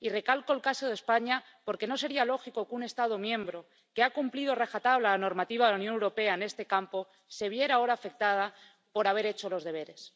Y recalco el caso de España porque no sería lógico que un Estado miembro que ha cumplido a rajatabla la normativa de la Unión Europea en este campo se viera ahora afectado por haber hecho los deberes.